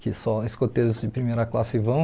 que só escoteiros de primeira classe vão.